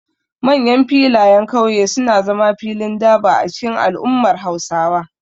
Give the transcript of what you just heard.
Manyan filayen kauye suna zama filin durbar a cikin al'ummar Hausawa.